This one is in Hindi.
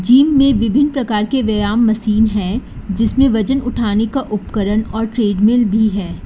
जिम में विभिन्न प्रकार के व्ययाम मशीन है जिसमें वजन उठाने का उपकरण और ट्रेड मिल भी है।